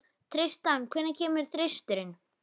Tristana, hvenær kemur þristurinn?